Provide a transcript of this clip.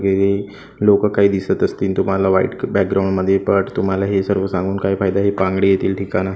हे लोकं काही दिसत असतील तुम्हाला व्हाईट बॅकग्राऊंड मध्ये बट तुम्हाला हे सांगून काय फायदा आहे बांगडी येतील ठिकाणं--